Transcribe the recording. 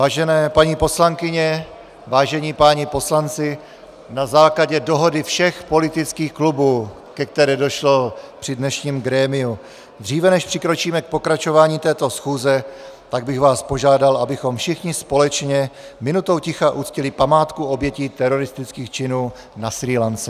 Vážené paní poslankyně, vážení páni poslanci, na základě dohody všech politických klubů, ke které došlo při dnešním grémiu, dříve než přikročíme k pokračování této schůze, tak bych vás požádal, abychom všichni společně minutou ticha uctili památku obětí teroristických činů na Srí Lance.